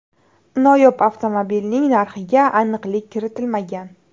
Noyob avtomobilning narxiga aniqlik kiritilmagan.